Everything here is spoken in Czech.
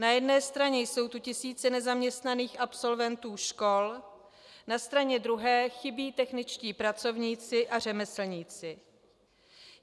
Na jedné straně jsou tu tisíce nezaměstnaných absolventů škol, na straně druhé chybí techničtí pracovníci a řemeslníci.